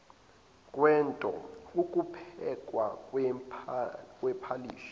kwento ukuphekwa kwephalishi